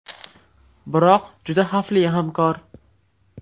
Biroq juda xavfli hamkor.